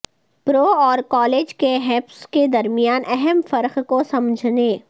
پرو اور کالج کے ہپس کے درمیان اہم فرق کو سمجھنے